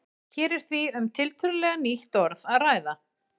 Hér er því um tiltölulega nýtt orð að ræða.